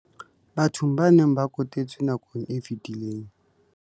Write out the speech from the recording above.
Bathong ba neng ba kotetswe nakong e fetileng.